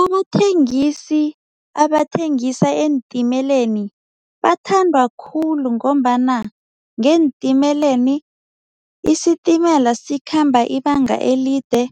Abathengisi abathengisa eentimeleni bathandwa khulu ngombana ngeentimeleni isitimela sikhamba ibanga elide,